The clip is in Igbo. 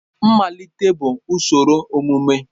Mmalite bụ usoro emume.